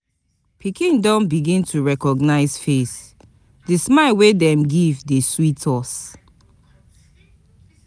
Pikin don begin to recognize face, di smile wey dem give dey sweet us.